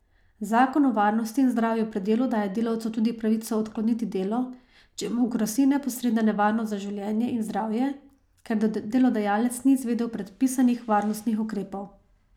Zakon o varnosti in zdravju pri delu daje delavcu tudi pravico odkloniti delo, če mu grozi neposredna nevarnost za življenje in zdravje, ker delodajalec ni izvedel predpisanih varnostnih ukrepov.